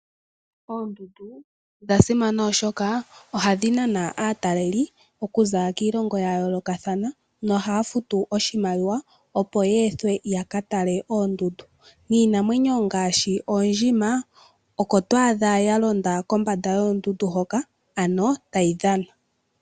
Oondundu odha simana oshoka ohadhi nana aataleli okuza kiilongo ya yoolokathana . Ohaya futu oshimaliwa opo ye ethwe ya ka tale oondundu niinamwenyo ngaashi oondjima oko to adha ya londa kombanda yoondundu hoka ano tayi dhana.